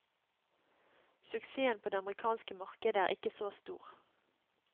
Suksessen på det amerikanske markedet er ikke så stor.